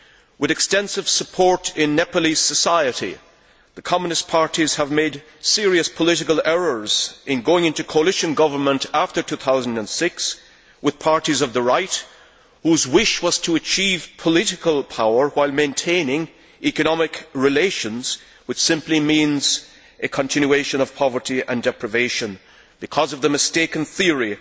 With extensive support in Nepalese society, the Communist parties have made serious political errors in going into coalition government after 2006 with parties of the right whose wish was to achieve political power while maintaining economic relations, which simply means a continuation of poverty and deprivation because of the Maoists' mistaken theory